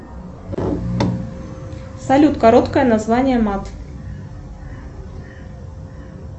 салют короткое название мат